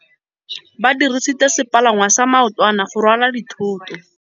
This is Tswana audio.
Ba dirisitse sepalangwasa maotwana go rwala dithôtô.